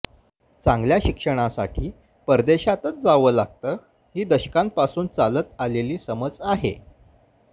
चांगल्या शिक्षणासाठी परदेशातच जावं लागतं ही दशकांपासून चालत आलेली समज आहे